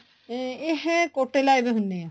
ਇਹ ਕੋਟੋ ਲਾਏ ਪਾਏ ਹੁਣੇ ਏ